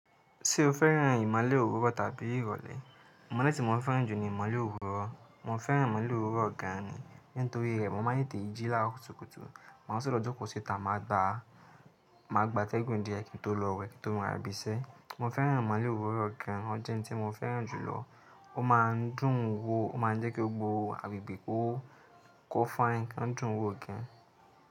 Ṣé o fẹ́ràn ìmọ́lẹ̀ òwúrọ̀ tàbí ìrọ̀lẹ́? Ìmọ̀lẹ̀ tí mo fẹ́ràn jù ni ìmọ̀lẹ̀ òwúrọ̀. Mo fẹ́ràn ìmọ́lẹ̀ òwúrọ̀ gan ni. Nítorí i rẹ̀ mo máa ń tètè ń jí láàárọ̀ kùtùkùtù. Màá sọ̀ lọ jókòó síta màá gba, màá gba atẹ́gùn díẹ̀ kí n tó lọ wẹ̀ kí n tó ma lọ ibiṣẹ́. Mo fẹ́ràn ìmọ́lẹ̀ òwúrọ̀ gan, ójẹ́ oun tí mo fẹ́ràn jùlọ. Ó máa ń dùn ún wò, ó máa ń jẹ́ kí gbogbo, agbègbè kó kó fine, ó ń dùn ún wò gan.